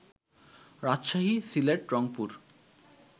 Rajshahi, Sylhet, Rangpur